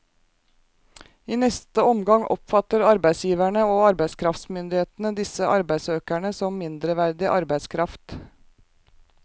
I neste omgang oppfatter arbeidsgiverne og arbeidskraftsmyndighetene disse arbeidssøkerne som mindreverdig arbeidskraft.